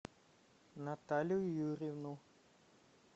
наталью юрьевну